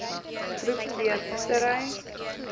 groep d visserye